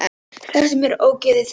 Slepptu mér, ógeðið þitt!